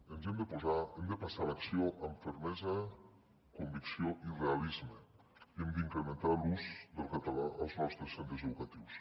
ens hi hem de posar hem de passar a l’acció amb fermesa convicció i realisme i hem d’incrementar l’ús del català als nostres centres educatius